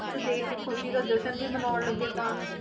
ਦੇਖ ਕੇ ਖ਼ੁਸ਼ੀ ਦਾ ਜਸ਼ਨ ਵੀ ਮਨਾਉਣ ਲੱਗੇ ਤਾਂ।